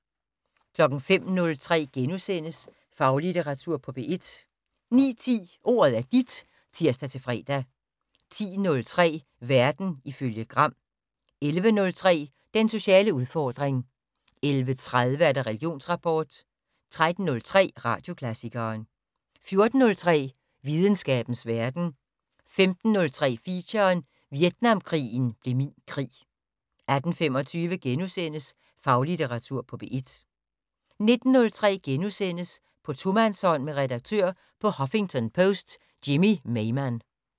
05:03: Faglitteratur på P1 * 09:10: Ordet er dit (tir-fre) 10:03: Verden ifølge Gram 11:03: Den sociale udfordring 11:30: Religionsrapport 13:03: Radioklassikeren 14:03: Videnskabens Verden 15:03: Feature: Vietnamkrigen blev min krig 18:25: Faglitteratur på P1 * 19:03: På tomandshånd med redaktør på Huffington Post Jimmy Maymann *